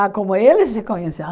Ah, como eles se conheceram.